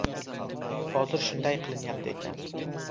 Hozir shunday qilinyapti ekan.